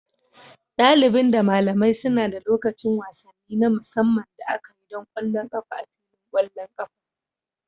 Dalibin da malamai suna da lokacin wasanni na musamman da aka yi don ƙwallon ƙafa a filin ƙwallon ƙafa.